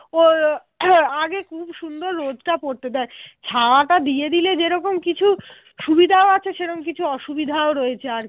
সুবিধাও আছে সেরকম কিছু অসুবিধাও রয়েছে আর কি